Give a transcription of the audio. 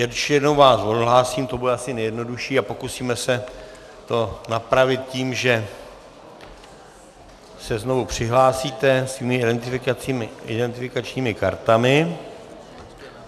Ještě jednou vás odhlásím, to bude asi nejjednodušší, a pokusíme se to napravit tím, že se znovu přihlásíte svými identifikačními kartami.